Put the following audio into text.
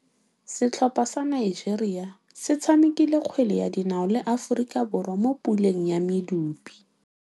Setlhopha sa Nigeria se tshamekile kgwele ya dinaô le Aforika Borwa mo puleng ya medupe.